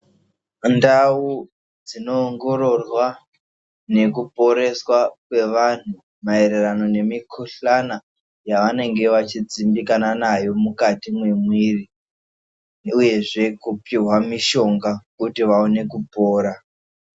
Ndau dzinoongororwa nekuporesa kwevantu maererano nemikuhlani yavanenge vachidzindikana nayo mukati memwiri uyezve kupihwa mishonga kuti vaone kupora.